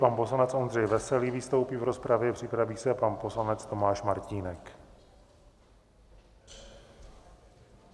Pan poslanec Ondřej Veselý vystoupí v rozpravě, připraví se pan poslanec Tomáš Martínek.